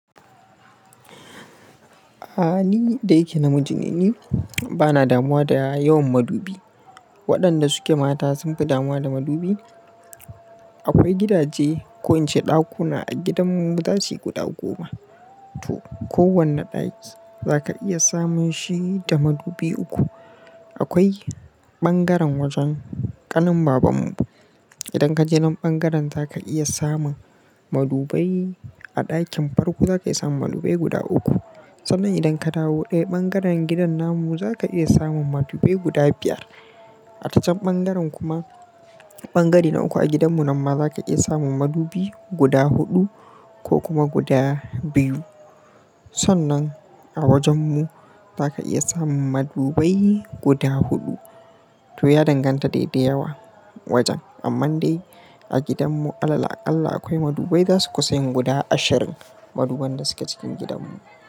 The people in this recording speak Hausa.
Aaa, ni da yake namiji ne ni, bana damuwa da yawan madubi. Waɗanda suke mata sun fi damuwa da madubi. Akwai gidaje ko in ce ɗakuna a gidanmu, za su yi guda goma to. Ko wanne ɗaki za ka iya samun shi da madubi uku. Akwai ɓangaren wajen ƙanin babanmu. Idan kaje nan ɓangaren za ka iya samun madubai. A ɗakin farko za ka iya samun madubai guda uku. Sannan idan ka dawo ɗaya ɓangaren gidan namun, za ka iya samun madubai guda biyar. A ta can ɓangaren kuma, ɓangare na uku a gidanmu, nan ma za ka iya samun madubi guda huɗu ko kuma guda biyu. Sannan a wajen mu za ka iya samun madubai guda huɗu. To ya danganta dai dai yawa wajen. Amman dai a gidanmu alal aƙalla akwai madubai za suka yin guda ashirin maduban da suke cikin gidanmu.